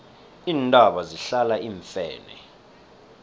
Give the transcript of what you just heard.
iintaba zihlala iimfene